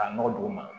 K'a nɔgɔ don o ma